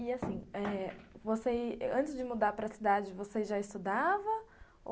E, assim eh, antes de mudar para a cidade, você já estudava?